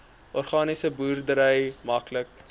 organiese boerdery maklik